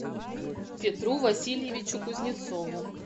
петру васильевичу кузнецову